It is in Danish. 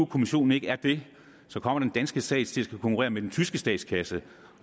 kommissionen ikke er det kommer den danske stat til at skulle konkurrere med den tyske statskasse